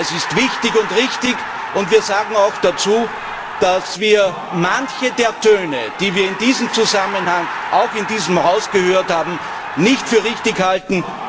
Es ist wichtig und richtig, und wir sagen auch dazu, dass wir manche der Töne, die wir in diesem Zusammenhang auch in diesem Hause gehört haben, nicht für richtig halten.